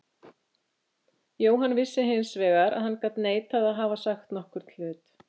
Jóhann vissi hins vegar vel að hann gat neitað að hafa sagt nokkurn hlut.